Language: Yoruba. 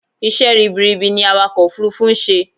Isẹ́ ribiribi ni awakọ̀ òfurufú nń ṣe